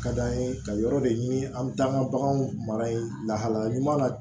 Ka d'an ye ka yɔrɔ de ɲini an bɛ taa an ka baganw mara yen lahalaya ɲuman na